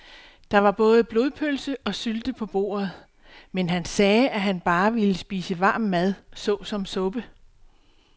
Der var både blodpølse og sylte på bordet, men han sagde, at han bare ville spise varm mad såsom suppe.